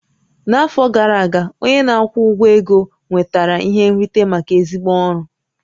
N'afọ gara aga, onye na-akwụ ụgwọ ego nwetara ihe nrite maka ezigbo ọrụ